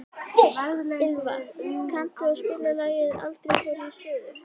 Ylva, kanntu að spila lagið „Aldrei fór ég suður“?